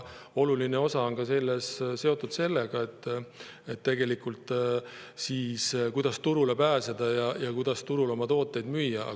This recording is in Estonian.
Oluline osa on seal sellel, kuidas turule pääseda, et seal oma tooteid müüa.